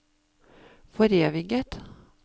foreviget